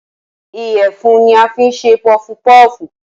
Ìyẹ̀fun ní a fín ṣe pọfu pọọfu